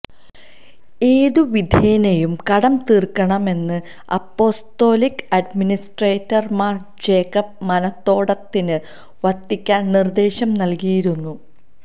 ഏതു വിധേനയും കടം തീര്ക്കണമെന്ന് അപ്പൊസ്തൊലിക് അഡ്മിനിസ്ട്രേറ്റര് മാര് ജേക്കബ് മനത്തോടത്തിന് വത്തിക്കാന് നിര്ദേശം നല്കിയിരുന്നു